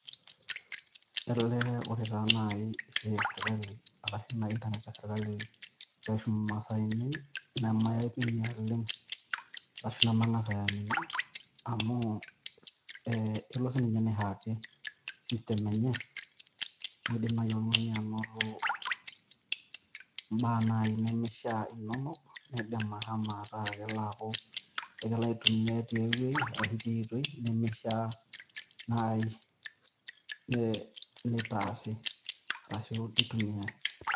Ele ore taa naai esiai oo serikali arashu ina internet ee serikali pee eishum masaaini ne mayaipi oleng' ashu naa masaaini amu ilo sii ninchee aihacki system enye nidimayu oltungani anoto imbaa naai nemishaa inonok naidima ama taa kelaku ala aitumia tenewuei arashu tiotoi nemishaa naai nitaasie arashu nitumie.